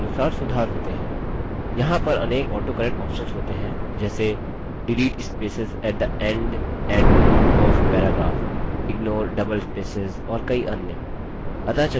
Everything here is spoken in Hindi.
यहाँ पर अनेक autocorrect options होते हैं जैसे delete spaces at the end and beginning of paragraph ignore double spaces और कई अन्य